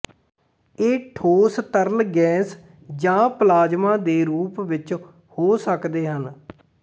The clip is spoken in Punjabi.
ਇਹ ਠੋਸ ਤਰਲ ਗੈਸ ਜਾਂ ਪਲਾਜ਼ਮਾ ਦੇ ਰੂਪ ਵਿੱਚ ਹੋ ਸਕਦੇ ਹਨ